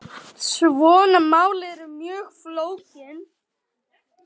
Svona mál eru mjög flókin.